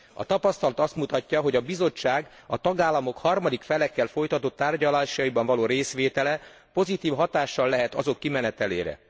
A tapasztalat azt mutatja, hogy a Bizottságnak a tagállamok harmadik felekkel folytatott tárgyalásaiban való részvétele pozitív hatással lehet a tárgyalások kimenetelére.